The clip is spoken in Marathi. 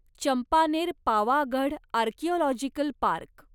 Champaner Pavagadh archaeological park